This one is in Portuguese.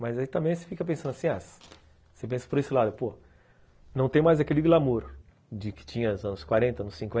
Mas aí também você fica pensando assim, ah, você pensa por esse lado, pô, não tem mais aquele glamour de que tinha nos anos quarenta, nos cinquenta